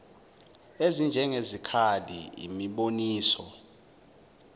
ezinjenge zikali imiboniso